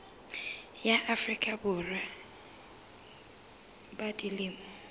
ya afrika borwa ba dilemo